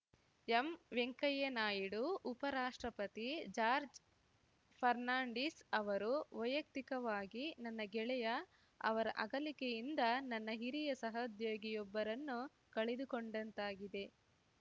M Venkaiah Naidu ಉಪ ರಾಷ್ಟ್ರಪತಿ ಜಾರ್ಜ್ ಫರ್ನಾಂಡಿಸ್‌ ಅವರು ವೈಯಕ್ತಿಕವಾಗಿ ನನ್ನ ಗೆಳೆಯ ಅವರ ಅಗಲಿಕೆಯಿಂದ ನನ್ನ ಹಿರಿಯ ಸಹೋದ್ಯೋಗಿಯೊಬ್ಬರನ್ನು ಕಳೆದುಕೊಂಡಂತಾಗಿದೆ